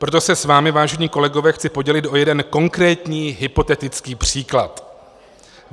Proto se s vámi, vážení kolegové, chci podělit o jeden konkrétní hypotetický příklad.